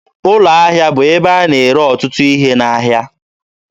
Ụlọ ahịa bụ ebe a na-ere ọtụtụ ihe n'ahịa.